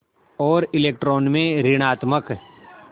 और इलेक्ट्रॉन में ॠणात्मक